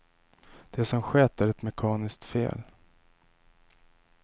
Det som skett är ett mekaniskt fel.